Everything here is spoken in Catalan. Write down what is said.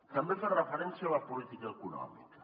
també ha fet referència a la política econòmica